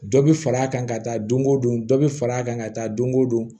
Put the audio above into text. Dɔ bɛ far'a kan ka taa don o don dɔ bɛ far'a kan ka taa don o don